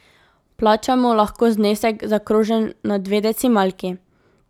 Plačamo lahko znesek, zaokrožen na dve decimalki.